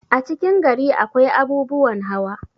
a cikin gari akwai abubuwan hawa